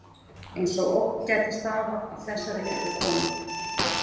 Eins og ógn gæti stafað af þessari litlu konu.